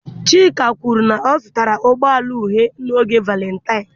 Chika kwuru na a zụtara ụgbọ ala uhie n'oge Valentaịnụ